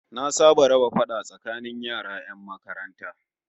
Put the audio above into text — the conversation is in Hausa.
Na saba da raba fada tsakanin yara 'yan makaranta